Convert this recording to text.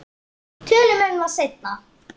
Tölum um það seinna.